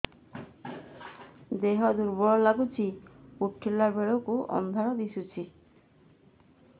ଦେହ ଦୁର୍ବଳ ଲାଗୁଛି ଉଠିଲା ବେଳକୁ ଅନ୍ଧାର ଦିଶୁଚି